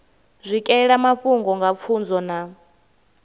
swikelela mafhungo nga pfunzo na